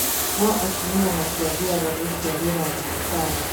No atumia matiathiaga gũciarĩra thibitarĩ